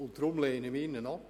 Deshalb lehnen wir ihn ab.